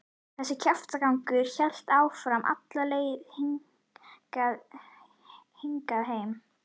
Þessi kjaftagangur hélt áfram alla leið hingað heim.